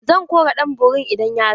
Zan kora ɗan borin idan ya zo.